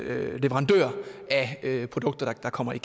leverandør af produkter der kommer ind